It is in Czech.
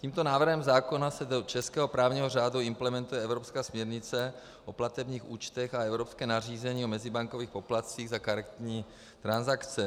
Tímto návrhem zákona se do českého právního řádu implementuje evropská směrnice o platebních účtech a evropské nařízení o mezibankovních poplatcích za karetní transakce.